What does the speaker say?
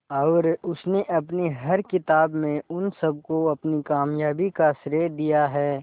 और उसने अपनी हर किताब में उन सबको अपनी कामयाबी का श्रेय दिया है